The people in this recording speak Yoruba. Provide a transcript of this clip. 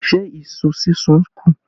Ṣé iṣu súnsun kù?